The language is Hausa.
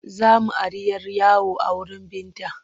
Za mu ari 'yar yawo a wurin Binta.